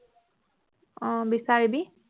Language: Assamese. অ বিচাৰিবি